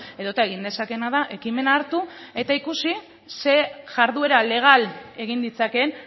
edota egin dezakeena da ekimena hartu eta ikusi zer jarduera legal egin ditzakeen